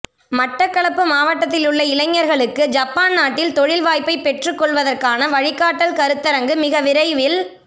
மட்டக்களப்பு மாவட்டத்திலுள்ள இளைஞர்களுக்கு ஜப்பான் நாட்டில் தொழில் வாய்பை பெற்றுக் கொள்வதற்கான வழிகாட்டல் கருத்தரங்கு மிக விரைவில்